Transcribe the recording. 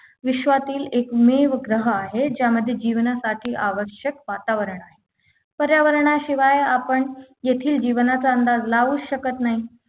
विश्वातील एकमेव ग्रह आहे ज्यामध्ये जीवनासाठी आवश्यक वातावरण आहे पर्यावरणाशिवाय आपण येथील जीवनाचा अंदाज लावू शकत नाही